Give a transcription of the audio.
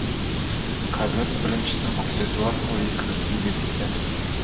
қазір біріншісін көрсетуі арқылы екіншісін бекіткен